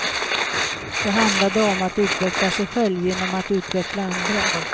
Det handlade om att utveckla sig själv genom att utveckla andra.